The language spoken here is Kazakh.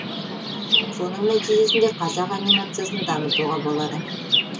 соның нәтижесінде қазақ анимациясын дамытуға болады